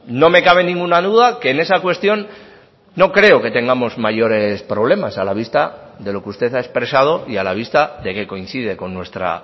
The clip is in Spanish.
no me cabe ninguna duda que en esa cuestión no creo que tengamos mayores problemas a la vista de lo que usted ha expresado y a la vista de que coincide con nuestra